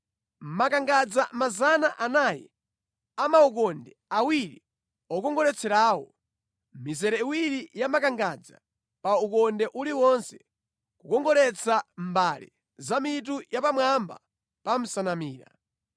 makangadza 400 a maukonde awiri okongoletserawo (mizere iwiri ya makangadza pa ukonde uliwonse, kukongoletsa mbale za mitu yapamwamba pa nsanamira);